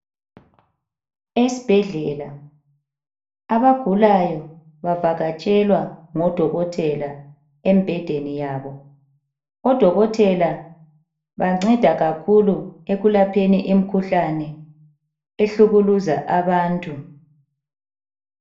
Esibhedlela abagulayo bavakatshelwa ngodokotela embhedeni yabo. Odokotela banceda kakhulu ekulapheni imikhuhlane ehlukuluza abantu.